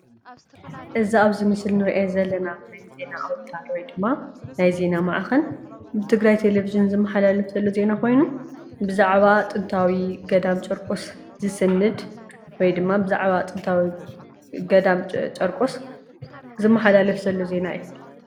እዚ ኣብዚ ምስሊ እንሪኦ ዘለና ዓይነት ዜና ኣዉታር ወይ ድማ ናይ ዜና ማዕኸን ብትግራይ ቴሌቭዥን ዝመሓላለፍ ዘሎ ዜና ኮይኑ ብዛዕባ ጥንታዊ ገዳም ጨርቆስ ዝስንድ ወይ ድማ ብዛዕባ ጥንታዊ ገዳም ጨርቆስ ዝመሓላለፍ ዘሎ ዜና እዩ።